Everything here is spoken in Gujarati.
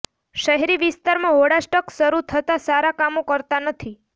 શહેરી વિસ્તારમાં હોળાષ્ટક શરૃ થતાં સારા કામો કરતા નથી